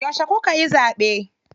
Yauce kukayi zaɓe?